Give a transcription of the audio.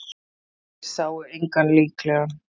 Þeir sáu engan líklegan